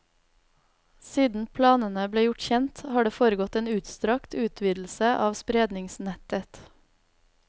Siden planene ble gjort kjent, har det foregått en utstrakt utvidelse av spredningsnettet.